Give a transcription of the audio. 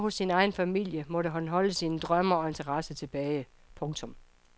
Hjemme hos sin egen familie måtte han holde sine drømme og interesser tilbage. punktum